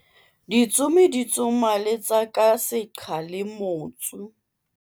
ditsomi di tsoma letsa ka seqha le motsu